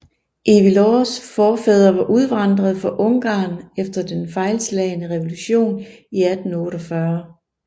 Ivy Lows forfædre var udvandret fra Ungarn efter den fejlslagne revolution i 1848